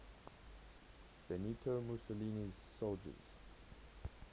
benito mussolini's soldiers